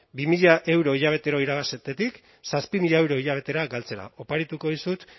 bi mila euro hilabetero irabaztetik zazpi mila euro hilabetera galtzera oparituko dizut